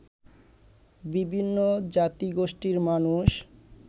বিভিন্ন জাতিগোষ্ঠীর মানুষ